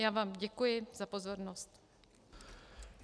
Já vám děkuji za pozornost.